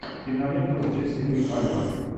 кинолента с джессикой альба